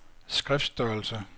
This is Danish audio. skriftstørrelse